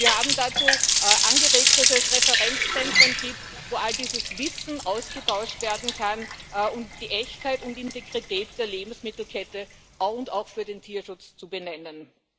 Wir haben dazu angeregt, dass es Referenzzentren gibt, wo all dieses Wissen ausgetauscht werden kann, und die Echtheit und Integrität der Lebensmittelkette auch für den Tierschutz zu benennen.